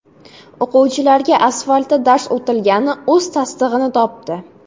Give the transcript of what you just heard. O‘quvchilarga asfaltda dars o‘tilgani o‘z tasdig‘ini topdi.